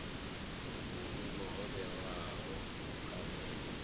vhuimo ho vhewaho kha u